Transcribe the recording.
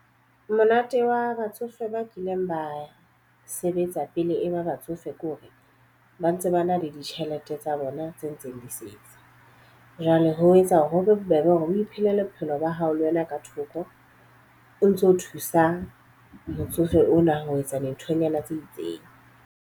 Monate wa batsofe ba kileng ba sebetsa pele e ba batsofe kore ba ntse ba na le ditjhelete tsa bona tse ntseng di setse. Jwale ho etsa hore ho be bobebe hore o iphelele bophelo ba hao le wena ka thoko. O ntso thusa motsofe ona ho etsa dinthonyana tse itseng.